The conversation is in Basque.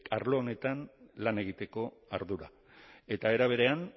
arlo honetan lan egiteko ardura eta era berean